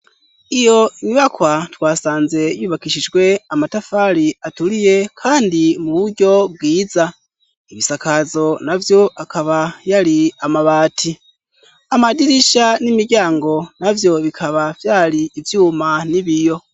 Iyo myibakwa twasanze yubakishijwe amatafari aturiye, kandi mu buryo bwiza ibisakazo na vyo akaba yari amabati amadirisha n'imiryango na vyo bikaba vyari ivyuma n'ibiyo.